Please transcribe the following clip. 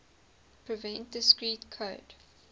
prevent discrete code